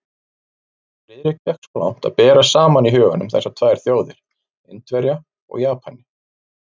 Friðrik gekk svo langt að bera saman í huganum þessar tvær þjóðir, Indverja og Japani.